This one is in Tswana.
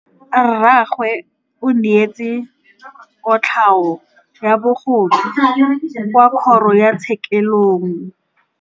Rragwe o neetswe kotlhaô ya bogodu kwa kgoro tshêkêlông.